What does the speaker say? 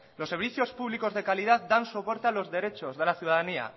los servicios públicos de calidad dan soporte a los derechos de la ciudadanía